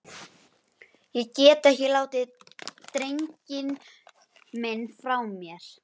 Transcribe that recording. Ég get ekki látið drenginn minn frá mér!